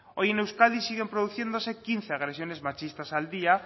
hoy en euskadi siguen produciéndose quince agresiones machistas al día